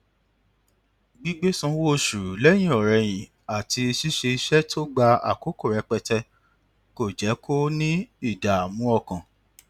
gbígbé sanwó oṣù lẹyìnọrẹyìn àti ṣíṣe iṣẹ tó gba àkókò rẹpẹtẹ kò jẹ kó ní ìdààmú ọkàn